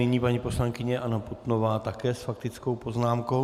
Nyní paní poslankyně Anna Putnová, také s faktickou poznámkou.